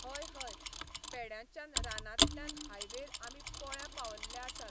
हय हय पेड्यांच्यान रानांतल्यान हायवेर आमी पोळ्यां पावल्ले आसात